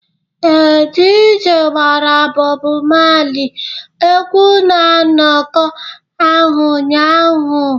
Ee, DJ gbara Bob Marley egwu na nnọkọ ahụ ụnyaahụ